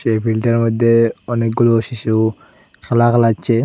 এই বিলটার মইধ্যে অনেকগুলো শিশু খেলা ভেলাচ্ছে।